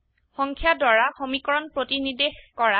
সংখ্যা দ্বাৰা সমীকৰণ প্ৰতিনিদেশ কৰা